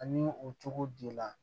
Ani o cogo di la